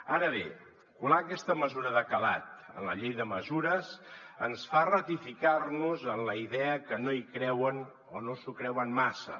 ara bé colar aquesta mesura de calat en la llei de mesures ens fa ratificar nos en la idea que no hi creuen o no s’ho creuen massa